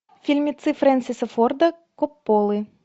фильмецы фрэнсиса форда копполы